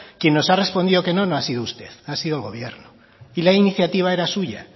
quien nos ha respondido que no no ha sido usted ha sido el gobierno y la iniciativa era suya